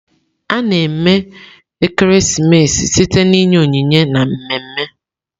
A-na eme ekeresimesi site na inye onyinye na mmemme.